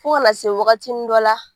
Fo kana se wagatinin dɔ la.